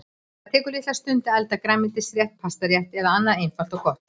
Það tekur litla stund að elda grænmetisrétt, pastarétt eða annað einfalt og gott.